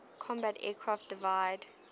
combat aircraft divide